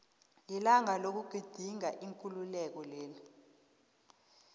lilanga lokugidinga ikululeko leli